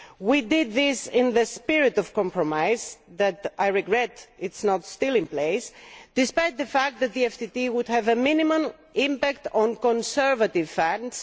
We did this in the spirit of compromise a compromise which I regret is not yet in place despite the fact that the FTT would have minimal impact on conservative funds.